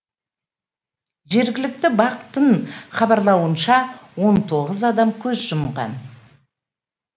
жергілікті бақ тың хабарлауынша он тоғыз адам көз жұмған